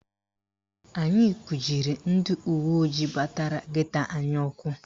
Anyị kujiri ndị uweojii batara geto anyị ụkwụ